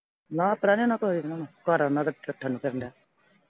ਨਾ ਆਪ ਰਹਿੰਦੇ ਆ ਨਾ ਕੋਈ ਇਨ੍ਹਾਂ ਨੂੰ ਘਰ ਇਨ੍ਹਾਂ ਦਾ ਠਠਣ ਨੂੰ ਫਿਰਦੇ।